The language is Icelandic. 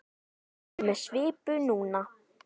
Hann er með svipu núna.